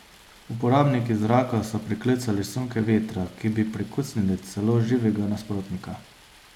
Uporabniki zraka so priklicali sunke vetra, ki bi prekucnili celo živega nasprotnika.